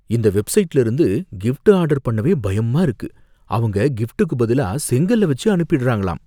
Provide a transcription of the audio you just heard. இந்த வெப்சைட்ல இருந்து கிஃப்ட் ஆர்டர் பண்ணவே பயமா இருக்கு, அவங்க கிஃப்ட்டுக்கு பதிலா செங்கல்ல வெச்சி அனுப்பிடுறாங்களாம்.